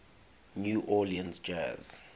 new orleans jazz